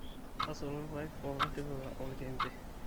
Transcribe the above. tasotu irpaek pokin tipika oloikembe